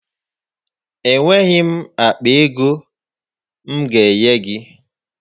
Enweghị m akpa ego m ga-enye gị.